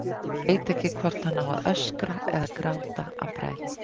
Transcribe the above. Hann veit ekki hvort hann á að öskra eða gráta af bræði.